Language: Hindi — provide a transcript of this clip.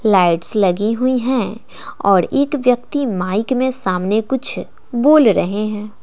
लाइट्स लगी हुई हैं और एक व्यक्ति माइक में सामने कुछ बोल रहे हैं।